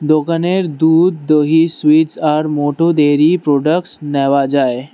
দোকানের দুধ দহি সুইটস আর মোটো ডেয়ারি প্রোডাক্টস নেওয়া যায়।